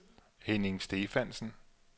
Henning Stephansen